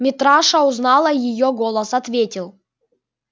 митраша узнала её голос ответил